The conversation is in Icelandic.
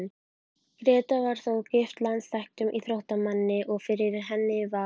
Gréta var þó gift landsþekktum íþróttamanni, og fyrir henni var